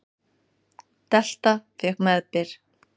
Delta fékk meðbyr